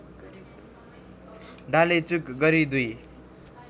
डालेचुक गरी दुई